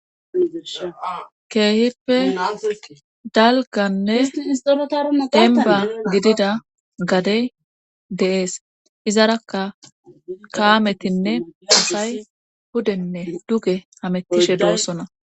keeheppe dalgannes isorotar denba gidida gade de7ees izarakka kaametinne asay hudenne duge hamettishe doossona